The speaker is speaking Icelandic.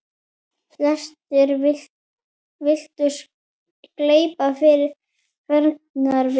Flestir virtust gleypa fegnir við.